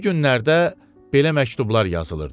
Bu günlərdə belə məktublar yazılırdı: